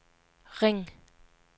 ring